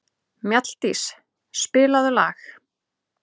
Mjalldís, spilaðu lag.